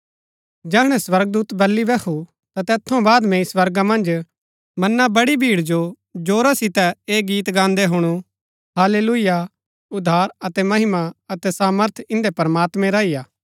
जैहणै स्वर्गदूत बल्ली बैहु ता तैत थऊँ बाद मैंई स्वर्गा मन्ज मना बड़ी भीड़ जो जोरा सितै ऐह गीत गान्दै हुणु हाल्लेलुयाह उद्धार अतै महिमा अतै सामर्थ इन्दै प्रमात्मैं रा ही हा